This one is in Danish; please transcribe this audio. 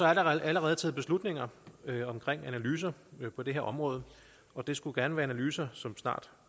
der allerede taget beslutninger om analyser på det her område og det skulle gerne være analyser som snart